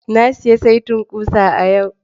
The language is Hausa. Na sayi saitin ƙusa a yau.